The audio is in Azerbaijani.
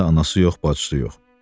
Yanında anası yox, bacısı yox.